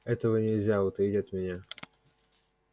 этого нельзя утаить от меня